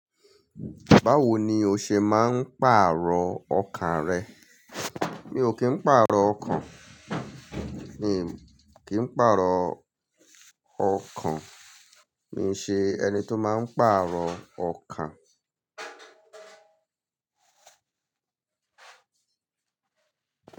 Báwo ni o ṣe máa ń pàrọ̀ ọkàn rẹ? Mi ò kí ń pàrọ̀ ọkàn, mi kí ń pàrọ̀ ọkàn, mi ń ṣe ẹni tó máa ń pàrọ̀ ọkàn.